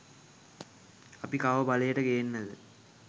අපි කාව බලයට ගේන්නද